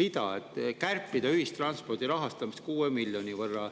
real: kärpida ühistranspordi rahastamist 6 miljoni võrra.